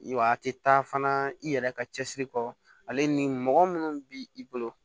Wa a tɛ taa fana i yɛrɛ ka cɛsiri kɔ ale ni mɔgɔ minnu bi i bolo